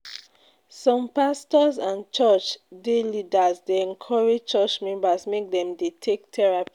Some pastors and church dey leaders dey encourage church members make dem Dey take therapy.